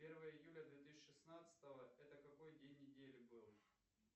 первое июля две тысячи шестнадцатого это какой день недели был